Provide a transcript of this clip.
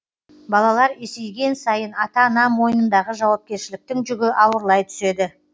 балалар есейген сайын ата ана мойнындағы жауапкершіліктің жүгі ауырлай түседі